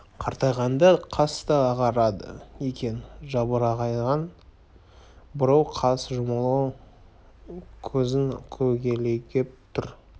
қартайғанда қас та ағарады екен жалбыраған бурыл қас жұмулы көзін көлегейлеп тұр